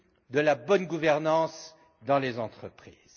de la bonne gouvernance dans les entreprises.